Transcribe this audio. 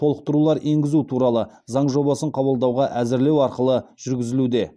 толықтырулар енгізу туралы заң жобасын қабылдауға әзірлеу арқылы жүргізілуде